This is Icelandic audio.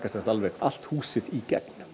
allt húsið í gegn